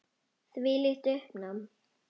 Þvílíkt uppnám.